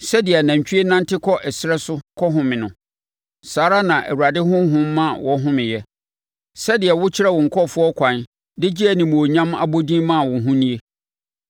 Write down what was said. Sɛdeɛ anantwie nante kɔ ɛserɛ so kɔhome no, saa ara na Awurade Honhom ma wɔhomeeɛ. Sɛdeɛ wokyerɛɛ wo nkurɔfoɔ kwan de gyee animuonyam abɔdin maa wo ho nie.